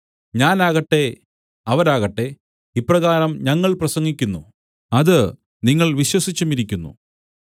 ഞാനാകട്ടെ അവരാകട്ടെ ഇപ്രകാരം ഞങ്ങൾ പ്രസംഗിക്കുന്നു അത് നിങ്ങൾ വിശ്വസിച്ചുമിരിക്കുന്നു